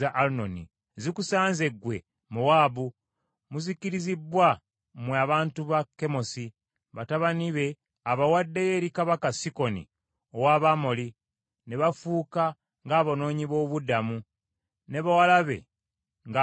Zikusanze, gwe Mowaabu! Muzikirizibbwa, mmwe abantu ba Kemosi! Batabani be abawaddeyo eri kabaka Sikoni ow’Abamoli ne bafuuka ng’abanoonyi b’obubudamu ne bawala be, ng’abawambe.